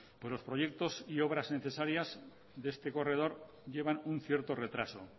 los proyectos y obras necesarias de este corredor llevan un cierto retraso